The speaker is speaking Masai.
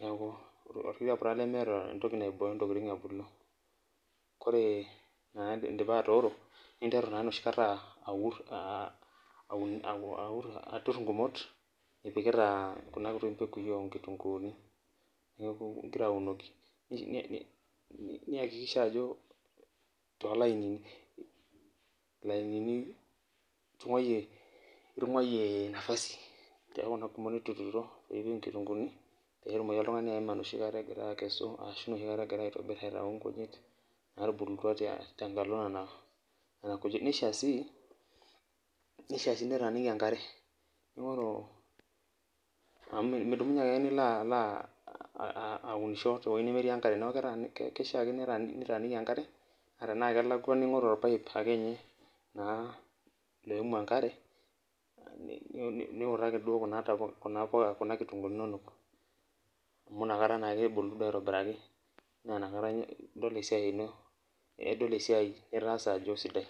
neeku orkituaa Pura lemeeta entoki naibiyo ntokitin ebulu ore enakata indipa atooro, ninteru naa enoshi kata aaturr ingumot, ipikita kuna ntokitin oo nkitunguuni ngira aunoki niaakikisha ajo too lainini nitunguayia napasini te kuna gumot nituturo pee etumiki oltung'ani eneeim egira akesu ashuu neeim egira adotu nkujit naatubulutua te mbata nkitunguuni. Neishaa sii niun tembata enkare amu meishaa niunisho te wueji nelamita enkare naa tenaa kelakuwa enkare ningoru irpaip niunoki embata ekuna kitunguuni nituuno amu inakata edoli esiaai nitaasa ajo eisidai.